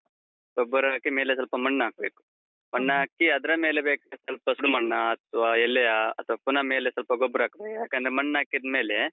ಗೊಬ್ಬರ ಹಾಕಿ, ಮೇಲೆ ಸ್ವಲ್ಪ ಮಣ್ ಹಾಕ್ಬೇಕು. ಮಣ್ ಹಾಕಿ, ಅದ್ರ ಮೇಲೆ ಬೇಕಿದ್ರೆ ಸ್ವಲ್ಪ ಸುಡು ಮಣ್ಣಾ ಅಥವಾ ಎಲೆಯ ಅಥವಾ ಪುನ ಮೇಲೆ ಸ್ವಲ್ಪ ಗೊಬ್ಬರ ಹಾಕ್ಬೇಕು, ಯಾಕಂದ್ರೆ ಮಣ್ಣಾಕಿದ್ಮೇಲೆ.